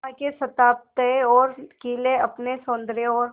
वहां के स्थापत्य और किले अपने सौंदर्य और